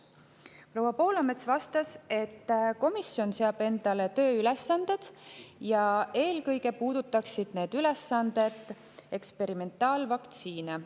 Proua Poolamets vastas, et komisjon seab endale tööülesanded ja eelkõige puudutaksid need ülesanded eksperimentaalvaktsiine.